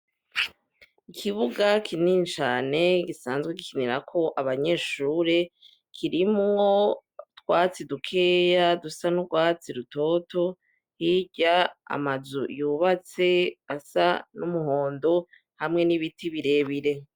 Ikibuga kinini cane gisanzwe gikinirako abanyeshure kirimwo utwatsi dukeyi dusa n'urwatsi rutoto, hirya amazu yubatse asa n'umuhondo hamwe n'ibiti birebire.